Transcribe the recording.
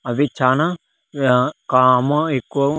అవి చానా ఆ కామో ఎక్కువ ఉ--